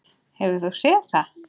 Hefur þú séð það?